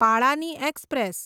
પાળાની express